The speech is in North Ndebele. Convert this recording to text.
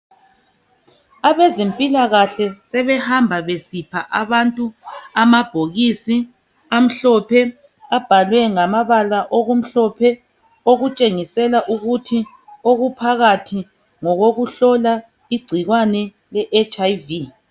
Abezempilakahle sebehamba besipha abantu amabhokisi amhlophe abhalwe ngamabala okumhlophe okutshengisela ukuthi okuphakathi ngokokuhlola igcikwane le HIV.